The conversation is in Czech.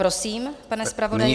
Prosím, pane zpravodaji.